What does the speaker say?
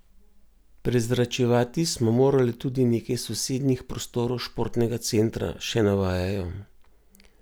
Prezračevati smo morali tudi nekaj sosednjih prostorov športnega centra, še navajajo.